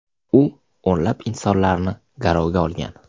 U o‘nlab insonlarni garovga olgan.